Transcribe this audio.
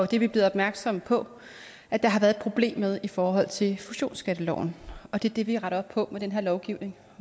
det er vi blevet opmærksomme på at der har været problem med i forhold til fusionsskatteloven og det er det vi retter op på med den her lovgivning